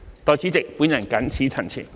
代理主席，我謹此陳辭。